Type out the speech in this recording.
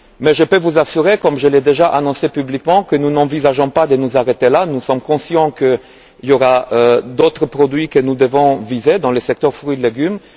Je peux vous assurer, comme je l'ai déjà annoncé publiquement, que nous n'envisageons pas de nous arrêter là, nous sommes conscients qu'il y aura d'autres produits que nous devrons viser dans le secteur fruits et légumes.